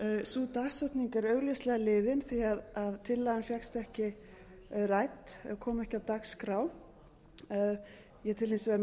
sú dagsetning er augljóslega liðin því tillagan fékkst ekki rædd eða kom ekki á dagskrá ég tel hins vegar